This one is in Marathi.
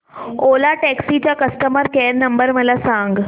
ओला टॅक्सी चा कस्टमर केअर नंबर मला सांग